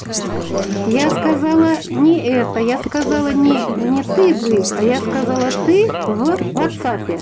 я сказала не это я сказала не и не ты жив а я сказала ты в ватсапе